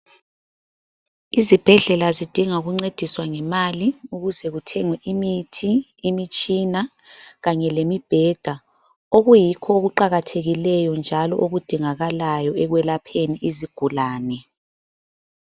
Izibhedlela zidinga ukuncediswa ngemali ukuze zithenge imithi, imitshina kanye lemibheda. Okuyikho okuqakathekileyo njalo okudingakalayo ekwelapheni izigulane.